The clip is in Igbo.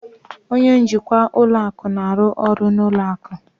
Onye njikwa ụlọ akụ na-arụ ọrụ na ụlọ akụ